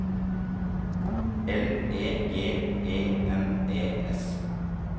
L E G E N E S